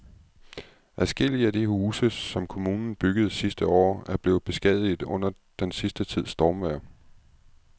Adskillige af de huse, som kommunen byggede sidste år, er blevet beskadiget under den sidste tids stormvejr.